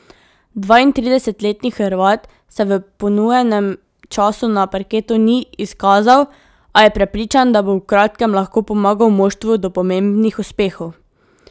Dvaintridesetletni Hrvat se v ponujenem času na parketu ni izkazal, a je prepričan, da bo v kratkem lahko pomagal moštvu do pomembnih uspehov.